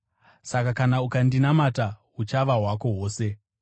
Saka kana ukandinamata, huchava hwako hwose.”